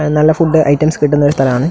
ങ് നല്ല food items കിട്ടുന്ന ഒരു സ്ഥലമാണ്.